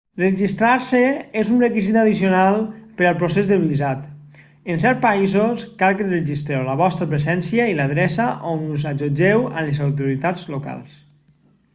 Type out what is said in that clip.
registrar-se és un requisit addicional per al procés del visat en certs països cal que registreu la vostra presència i l'adreça on us allotgeu amb les autoritats locals